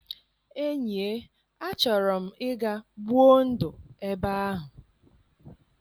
Enyie, achọrọ m ịga gbuo ndụ ebe ahụ.